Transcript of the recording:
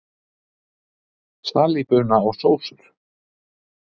Salíbuna og sósur